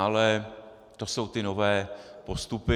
Ale to jsou ty nové postupy.